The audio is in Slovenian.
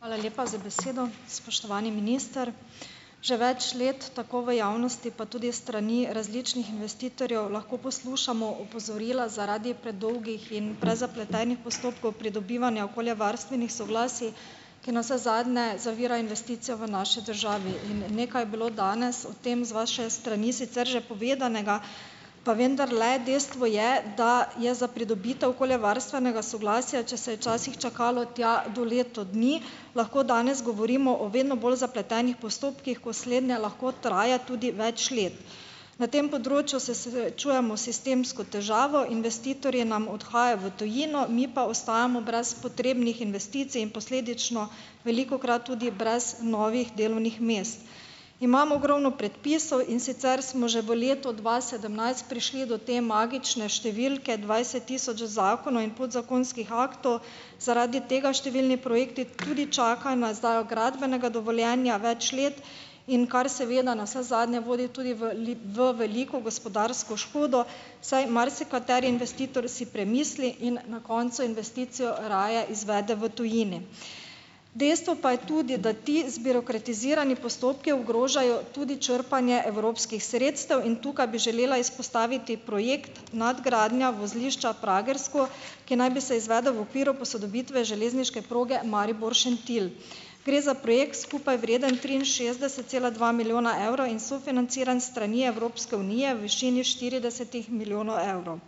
Hvala lepa za besedo . Spoštovani minister. Že več let tako v javnosti pa tudi strani različnih investitorjev lahko poslušamo opozorila zaradi predolgih in prezapletenih postopkov pridobivanja okoljevarstvenih soglasij, ki navsezadnje zavira investicijo v naši državi, in nekaj je bilo danes o tem z vaše strani sicer že povedanega, pa vendarle, dejstvo je, da je za pridobitev okoljevarstvenega soglasja, če se je včasih čakalo tja do leto dni, lahko danes govorimo o vedno bolj zapletenih postopkih, ko slednje lahko traja tudi več let. Na tem področju se srečujemo sistemsko težavo, investitorji nam odhajajo v tujino, mi pa ostajamo brez potrebnih investicij in posledično velikokrat tudi brez novih delovnih mest. Imamo ogromno predpisov, in sicer smo že v letu dva sedemnajst prišli do te magične številke dvajset tisoč zakonov in podzakonskih aktov. Zaradi tega številni projekti tudi čakajo na izdajo gradbenega dovoljenja več let, in kar seveda navsezadnje vodi tudi v v veliko gospodarsko škodo, saj marsikateri investitor si premisli in na koncu investicijo raje izvede v tujini. Dejstvo pa je tudi, da ti zbirokratizirani postopki ogrožajo tudi črpanje evropskih sredstev in tukaj bi želela izpostaviti projekt: nadgradnja vozlišča Pragersko, ki naj bi se izvedel v okviru posodobitve železniške proge Maribor-Šentilj. Gre za projekt, skupaj vreden triinšestdeset cela dva milijona evrov in sofinanciran s strani Evropske unije v višini štiridesetih milijonov evrov.